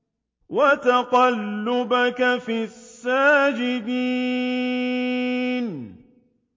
وَتَقَلُّبَكَ فِي السَّاجِدِينَ